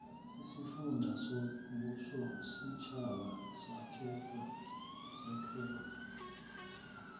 isifunda sombusositjhaba sakhelwa